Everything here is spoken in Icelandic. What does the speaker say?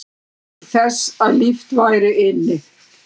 Til þess að líft væri inni